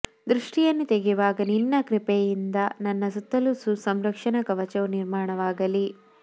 ದೃಷ್ಟಿಯನ್ನು ತೆಗೆಯುವಾಗ ನಿನ್ನ ಕೃಪೆಯಿಂದ ನನ್ನ ಸುತ್ತಲೂ ಸಂರಕ್ಷಣಾ ಕವಚವು ನಿರ್ಮಾಣವಾಗಲಿ